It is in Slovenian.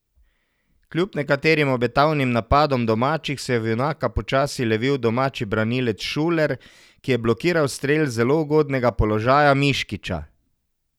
Kljub nekaterim obetavnim napadom domačih se je v junaka počasi levil domači branilec Šuler, ki je blokiral strel iz zelo ugodnega položaja Miškića.